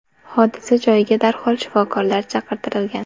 Hodisa joyiga darhol shifokorlar chaqirtirilgan.